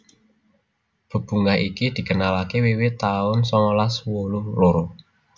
Bebungah iki dikenalaké wiwit taun songolas wolu loro